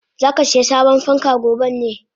Zakasiya sabon fanka goben ne?